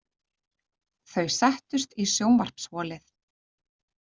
Þau settust í sjónvarpsholið.